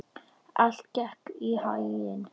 Allt gekk þeim í haginn.